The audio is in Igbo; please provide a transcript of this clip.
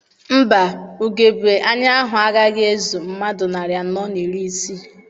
Mba, ugebe anya ahụ agaghị ezu mmadụ narị anọ na iri isii.